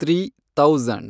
three thousand